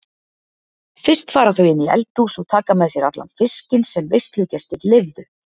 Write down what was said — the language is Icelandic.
Fyrst fara þau inn í eldhús og taka með sér allan fiskinn sem veislugestir leyfðu.